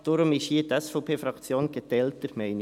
Deshalb ist die SVP-Fraktion hier geteilter Meinung.